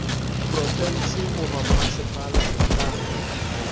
profense goba mmasepala o ka